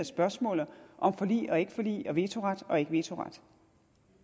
spørgsmålet om forlig og ikke forlig og vetoret og ikke vetoret